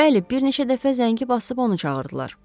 Bəli, bir neçə dəfə zəngi basıb onu çağırdılar.